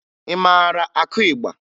Ị mara akụ ịgba?